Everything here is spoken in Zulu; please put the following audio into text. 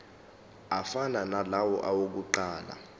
afana nalawo awokuqala